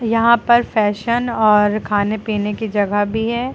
यहां पर फैशन और खाने पीने की जगह भी है।